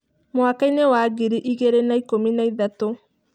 Mwakainĩ wa ngiri igĩrĩ na ikũmi na ithatũ.